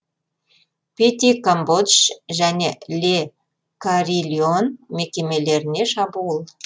пети камбодж және ле карильон мекемелеріне шабуыл